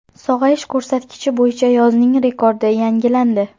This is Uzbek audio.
Sog‘ayish ko‘rsatkichi bo‘yicha yozning rekordi yangilandi.